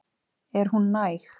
Er hún næg?